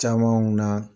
Camanw na